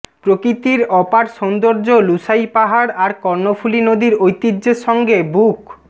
প্রকৃতির অপার সৌন্দর্য লুসাই পাহাড় আর কর্ণফুলী নদীর ঐতিহ্যের সঙ্গে বুক